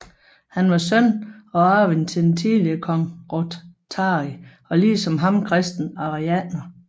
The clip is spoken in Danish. Han var søn og arving til den tidligere konge Rothari og ligesom ham kristen arianer